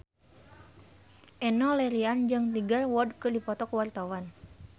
Enno Lerian jeung Tiger Wood keur dipoto ku wartawan